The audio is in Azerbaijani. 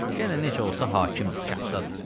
Yenə necə olsa hakimdir kənddədir.